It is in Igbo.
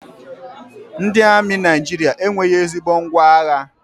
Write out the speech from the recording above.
Ndị amị Naijiria enweghị ezigbo ngwá agha